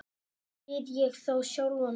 spyr ég þá sjálfan mig.